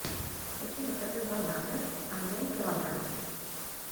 хочу заказать бананы один килограмм